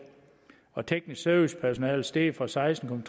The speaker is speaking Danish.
teknisk service personale er steget fra seksten